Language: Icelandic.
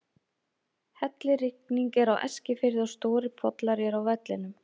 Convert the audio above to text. Hellirigning er á Eskifirði og stórir pollar eru á vellinum.